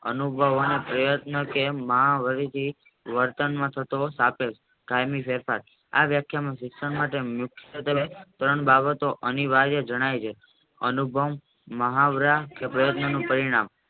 અનુબલ હોવાના પ્રયત્નો વર્તમાનમાં થતો કાયમી ફેરફાર આ વ્યાખ્યાની સિસ્ટમ માટે ત્રણ બાવસો એની વાર્યા જણાય છે અનુપમ મુહાવરા પ્રયતનોતુ પરિણામ